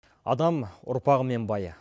адам ұрпағымен бай